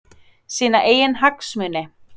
Sína eigin hagsmuni?